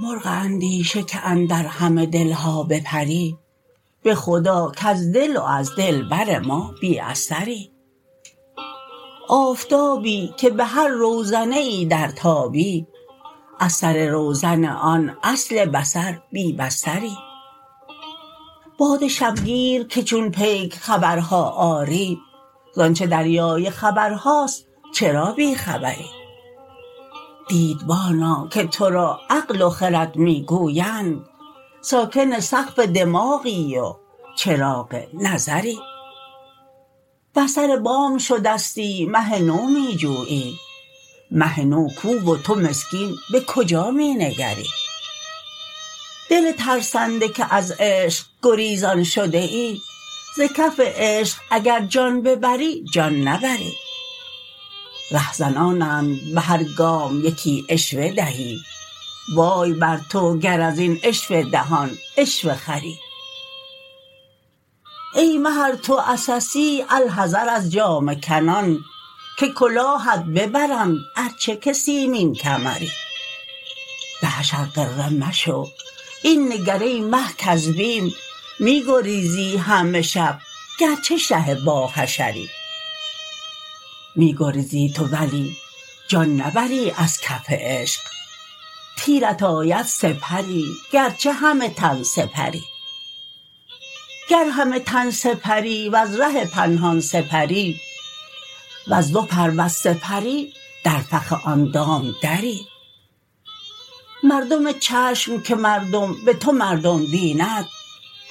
مرغ اندیشه که اندر همه دل ها بپری به خدا کز دل و از دلبر ما بی اثری آفتابی که به هر روزنه ای درتابی از سر روزن آن اصل بصر بی بصری باد شبگیر که چون پیک خبرها آری ز آنچ دریای خبرهاست چرا بی خبری دیدبانا که تو را عقل و خرد می گویند ساکن سقف دماغی و چراغ نظری بر سر بام شدستی مه نو می جویی مه نو کو و تو مسکین به کجا می نگری دل ترسنده که از عشق گریزان شده ای ز کف عشق اگر جان ببری جان نبری رهزنانند به هر گام یکی عشوه دهی وای بر تو گر از این عشوه دهان عشوه خری ای مه ار تو عسسی الحذر از جامه کنان که کلاهت ببرند ار چه که سیمین کمری به حشر غره مشو این نگر ای مه کز بیم می گریزی همه شب گرچه شه باحشری می گریزی تو ولی جان نبری از کف عشق تیرت آید سه پری گرچه همه تن سپری گر همه تن سپری ور ره پنهان سپری ور دو پر ور سه پری در فخ آن دام وری مردم چشم که مردم به تو مردم بیند